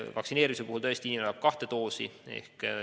Vaktsineerimise puhul vajab inimene tõesti kahte doosi.